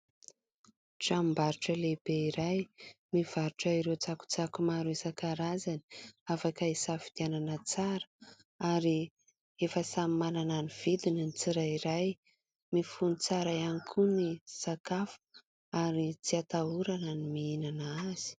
Tranom-barotra lehibe iray mivarotra ireo tsakotsako maro isan-karazany, afaka hisafidianana tsara ary efa samy manana ny vidiny ny tsirairay, mifono tsara ihany koa ny sakafo ary tsy hatahorana ny mihinana azy.